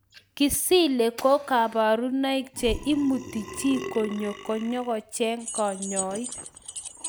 Kisile ko kaparunaik che imutu chii konyo nyokocheng' kanyaik